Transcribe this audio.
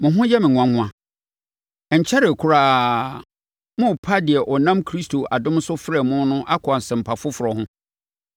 Mo ho yɛ me nwanwa! Ɛnkyɛree koraa, morepa deɛ ɔnam Kristo adom so frɛɛ mo no akɔ asɛmpa foforɔ ho.